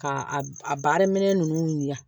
Ka a a baara minɛn ninnu dilan